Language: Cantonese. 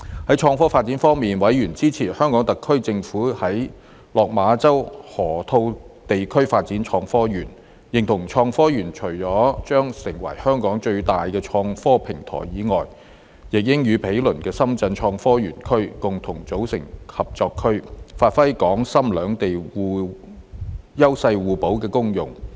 在創科發展方面，委員支持香港特區政府在落馬洲河套地區發展創科園，認同創科園除了將成為香港最大的創科平台以外，亦應與毗鄰的深圳科創園區共同組成合作區，發揮港深兩地優勢互補的功用。